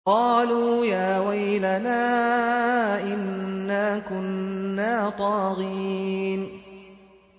قَالُوا يَا وَيْلَنَا إِنَّا كُنَّا طَاغِينَ